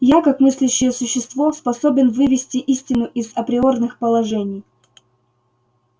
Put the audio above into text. я как мыслящее существо способен вывести истину из априорных положений